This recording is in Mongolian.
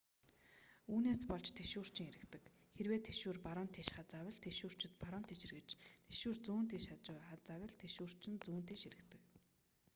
үүнээс болж тэшүүрчин эргэдэг хэрэв тэшүүр баруун тийш хазайвал тэшүүрчид баруун тийш эргэж тэшүүр зүүн тийш хазайвал тэшүүрчин зүүн тийш эргэдэг